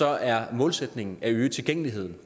er målsætningen at øge tilgængeligheden